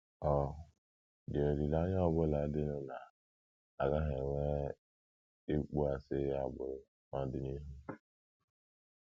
Ọ̀ dị olileanya ọ bụla dịnụ na a gaghị enwe ịkpọasị agbụrụ n’ọdịnihu?